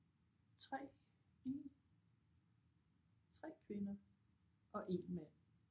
3 4 3 kvinder og 1 mand